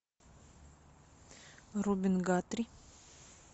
робин гатри